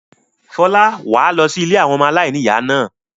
Fọlá, wà á lọ sí ilé àwọn ọmọ aláìníìyá náà.